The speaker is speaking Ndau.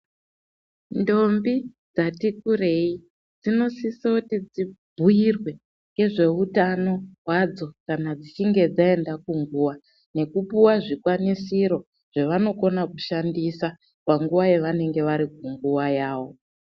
Ndombi, dzati kurei dzinosisoti dzibhuirwe ngezveutano hwadzo kana dzichinge dzaenda kunguwa, nekupuwa zvikwanisiro zvevanokona kushandisa panguwa yevanenge vari kunguwa yavo.